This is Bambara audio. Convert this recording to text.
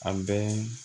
A bɛɛ